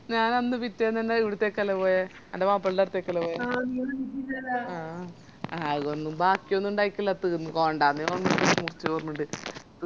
ഞാനന്ന് പിറ്റേന്നന്നെ അവിടുത്തേക്കന്നല്ലേ പോയെ അന്റെ വാപ്പന്റടത്തേക്കല്ലേ പോയെ ആ അതൊന്നും ബാക്കിയൊന്നും ഉണ്ടായിട്ടില്ല